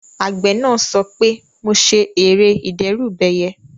Àgbẹ̀ náà sọ pé "mo ṣe ère ìdẹ́rùbẹyẹ"